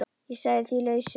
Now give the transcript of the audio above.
Ég sagði því lausu.